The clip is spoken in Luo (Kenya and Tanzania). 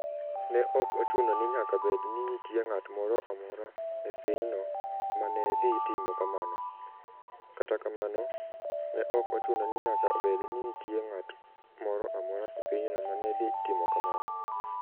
Ne ok ochuno ni nyaka bed ni nitie ng'at moro amora e pinyno ma ne dhi timo kamano. Kata kamano, ne ok ochuno ni nyaka bed ni nitie ng'at moro amora e pinyno ma ne dhi timo kamano.